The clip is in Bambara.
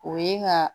O ye ka